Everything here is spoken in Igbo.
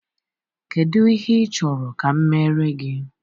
Kedu ihe ị chọrọ ka m meere gị?